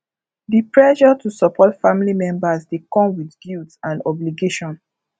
di pressure to support family members dey come with guilt and obligation